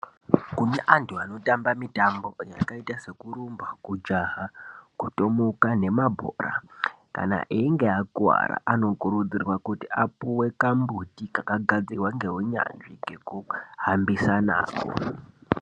Kune antu anotambe mitambo yakaite sekurumba, kujaha, kutomuka nemabhora, kana einge akuwara anokurudzirwa kuti apuwe kambuti kakagadzirwa ngeunyanzvi kekuhambisa nako.